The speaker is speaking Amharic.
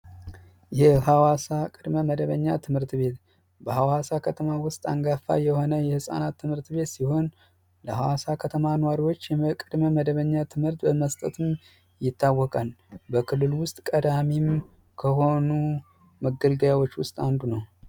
የሀዋሳ ቅድመ መደበኛ ትምህርት ቤት በሀዋሳ ከተማ አንጋፋ የሆነ የህፃናት ትምሀርት ቤት ሲሆን ለሀዋሳ ከተማ ኗሪዎች ቅድመ መደበኛ ትምህርት በመስጠትም ይታወቃል። በክልሉ ውስጥ ተቀዳሚ ከሆኑ መገልገያዎች ውስጥ አንዱ ነው።